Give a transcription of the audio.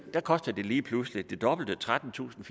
koster det lige pludselig det dobbelte trettentusinde